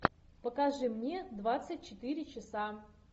покажи мне двадцать четыре часа